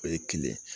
O ye kelen